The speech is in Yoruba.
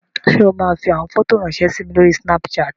Ṣé o máa fi àwọn fọ́tò ráńṣẹ́ sí mi lórí Snapchat?